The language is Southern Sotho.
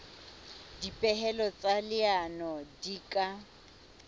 dipehelo tsa leano di ka